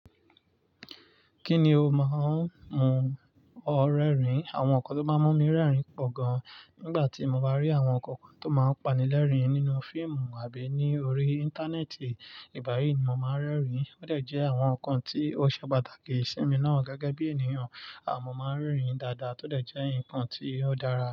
Kí ni o máa ń mú ọ rẹ́rìn? Àwọn nǹkan tó máa ń mú mi rẹ́rìn pọ̀ gan, nígbà tí mo bá rí àwọn nǹkan tó máa ń pani lẹ́rìn nínú fíìmù àbí ní orí Íńtánẹ́ẹ̀tì, ìgbà yìí ni mo máa ń rẹ́rìn. Ó dẹ̀ jẹ́ àwọn nǹkan tí ó ṣe pàtàkì sí mi náà gẹ́gẹ́ bí ènìyàn. A mo máa ń rẹ́rìn dáadáa, tó dẹ̀ jẹ́ nǹkan tí ó dára.